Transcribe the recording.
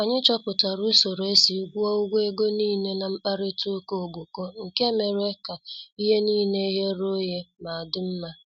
Anyị chọpụtara usoro esi gwuo ụgwọ ego nile n' mkparita ụka ogboko nke mere ka ihe nile ghere oghe ma dị mma.